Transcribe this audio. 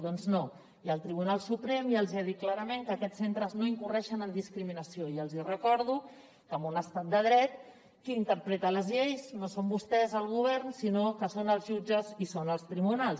doncs no i el tribunal suprem ja els ha dit clarament que aquests centres no incorren en discriminació i els hi recordo que en un estat de dret qui interpreta les lleis no són vostès el govern sinó que són els jutges i són els tribunals